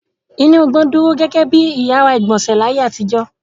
Inú igbó dúró gẹ́gẹ́ bí ìyàrá-ìgbọ̀nsẹ̀ láyé àtijọ́.